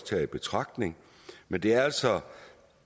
taget i betragtning men det er altså